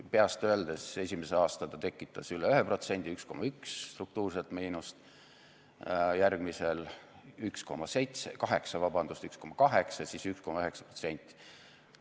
Peast öeldes, esimese aasta ta tekitas üle 1% ehk 1,1% struktuurset miinust, järgmisel 1,8% ja siis 1,9%.